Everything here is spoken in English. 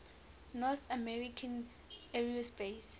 north american aerospace